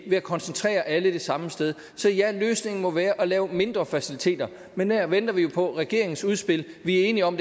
ved at koncentrere alle det samme sted så ja løsningen må være at lave mindre faciliteter men der venter vi jo på regeringens udspil vi er enige om